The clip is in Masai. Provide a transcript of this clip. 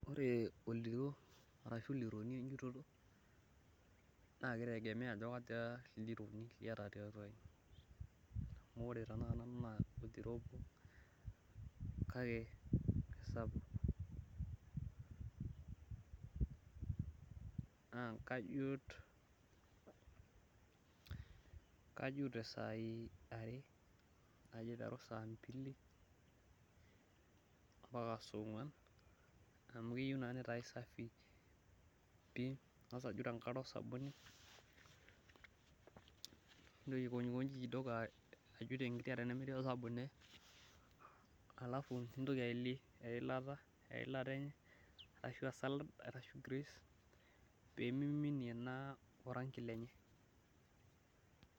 Ore oldiroo ashu leruniejito na kitegemea ajo kaja ildirooni liata liaata tiatua aji amu ore tanaa nanu na oldiroo obo aata nakesapuk na kajut tesaai are kajo aiteru saambili ambaka songuan amu keyieu na nitae safi ningasa ajut tenkare osabuni nitoki aikonjikonji kidogo ajut tenkare temetii osabuni alf nintoki ailei eilata enye ashu salad ashu greece pemiminie naa orangi lenye.